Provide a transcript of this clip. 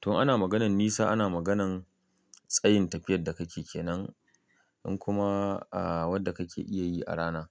To ana maganan nisa ana maganan tsayin tafiyadda kake kenan in kuma, a, wadda kake iya yi a rana.